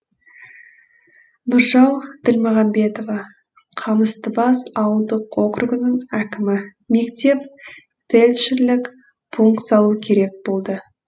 нұржау ділмағамбетова қамыстыбас ауылдық округінің әкімі мектеп фельдшерлік пункт салу керек болды